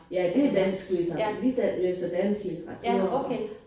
Ja det dansk litteratur vi læser dansk litteratur